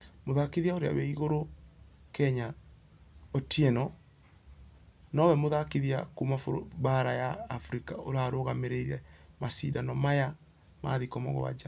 Mũthakithia ũrĩa we igũrũ kenyanotiwno nũwe mũthakithia kuuma baara ya africa ũrarũgamĩrĩire mashidano maya ma thikũ mũgwaja.